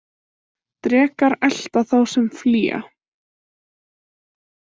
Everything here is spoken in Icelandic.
Drekar elta þá sem flýja.